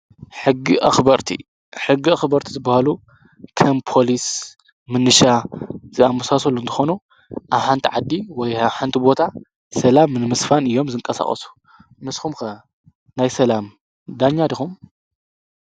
ሕጊ ኣኽበርቲ ዝበሃሉ ከም ፖሊስ፣ ምንሻ ዝኣምሳሰሉ እንተኾኑ ኣብ ሓንቲ ዓዲ ወይ ኣብ ሓንቲ ቦታ ሰላም ንምስፋን እዮም ዝንቀሳቐሱ፡፡ ንስኹም ከ ናይ ሰላም ዳኛ ዲኹም?